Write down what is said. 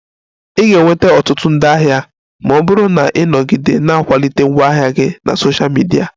I ga-enweta ọtụtụ ndị ahịa ma ọ bụrụ na ị nọgide na-akwalite ngwaahịa gị na Sosha midia